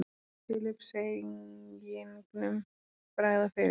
Filippseyingnum bregða fyrir.